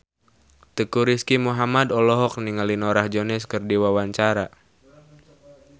Teuku Rizky Muhammad olohok ningali Norah Jones keur diwawancara